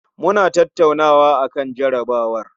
Muna tattaunawa akan jarabawar